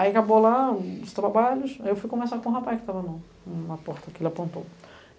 Aí acabou lá os trabalhos, aí eu fui conversar com o rapaz que estava na porta aqui, ele apontou.